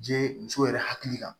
Je muso yɛrɛ hakili kan